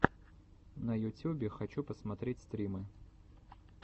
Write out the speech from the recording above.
на ютюбе хочу посмотреть стримы